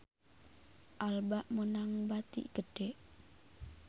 Alba meunang bati gede